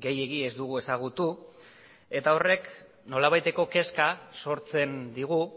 gehiegi ez dugu ezagutueta horrek nolabaiteko kezka sortzen digu